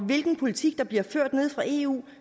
hvilken politik der bliver ført nede fra eu